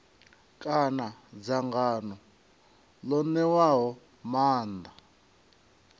kana dzangano ḽo ṋewaho maanḓa